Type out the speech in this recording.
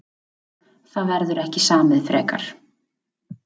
Það verður ekki samið frekar